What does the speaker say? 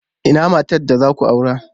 Ina matar da za ku aura?